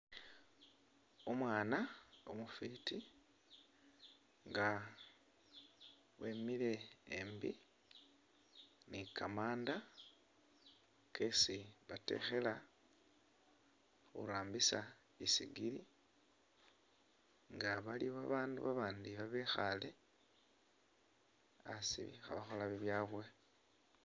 Umwana umufiti nga wemile embi ni kamanda kesi batekhela khurambisa isigiri nga bali babandu abandi ibekhale asi khabakhola bibyawe.